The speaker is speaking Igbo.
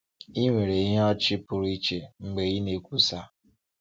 Ị nwere ìhè ọchị pụrụ iche mgbe ị na-ekwusa.